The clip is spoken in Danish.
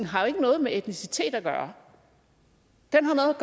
har jo ikke noget med etnicitet at gøre den